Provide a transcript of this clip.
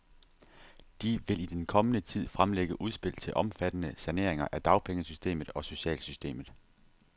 De vil i den kommende tid fremlægge udspil til omfattende saneringer af dagpengesystemet og socialsystemet.